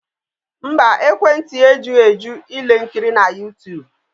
Mba, ekwentị ya ejughị eju ile nkiri na YouTube